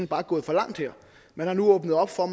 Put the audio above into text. bare gået for langt man har nu åbnet op for